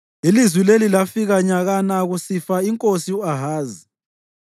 Ilizwi leli lafika nyakana kusifa inkosi u-Ahazi: